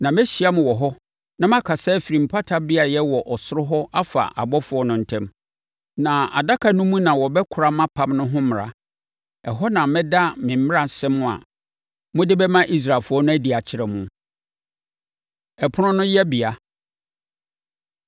Na mɛhyia mo wɔ hɔ na makasa afiri mpata beaeɛ wɔ soro hɔ afa abɔfoɔ no ntam. Na adaka no mu na wɔbɛkora mʼapam no ho mmara. Ɛhɔ na mɛda me mmaransɛm a mode bɛma Israelfoɔ no adi akyerɛ mo. Ɛpono No Yɛbea